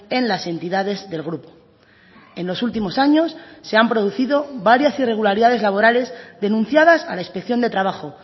en las entidades del grupo en los últimos años se han producido varias irregularidades laborales denunciadas a la inspección de trabajo